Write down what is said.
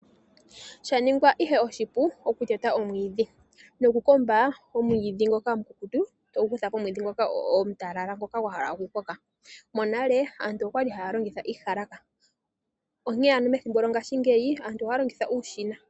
Sha ningwa ihe oshipu okuteta omwiidhi nokukomba omwiidhi ngoka omukukutu togu kutha pomwiidhi ngoka omutalala ngoka gwa hala okukoka. Monale aantu okwa li haya longitha iiyalaka onkene ano methimbo lyongashingeyi aantu ohaya longitha uushina.